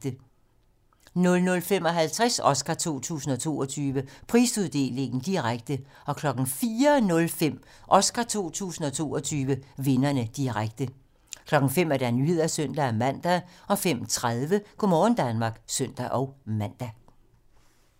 00:55: Oscar 2022: Prisuddeling - direkte 04:05: Oscar 2022: Vinderne - direkte 05:00: Nyhederne (søn-man) 05:30: Go' morgen Danmark (søn-man)